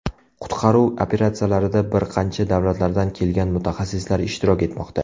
Qutqaruv operatsiyalarida bir qancha davlatlardan kelgan mutaxassislar ishtirok etmoqda.